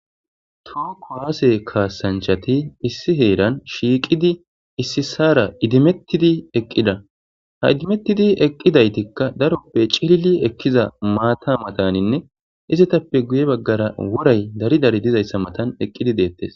tuu kowaase kaasanchati issi heeran shiiqidi issi saara idimettidi eqqida ha idimettidi eqqidaytikka daroppe cili ekkiza maata mataninne izetappe guye baggara woray dari dari dizayssa matan eqqidi deettes